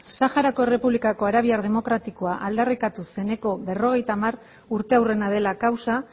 saharako errepublikako arabiar demokratikoa aldarrikatu zeneko berrogeita hamargarrena urteurrena dela kausa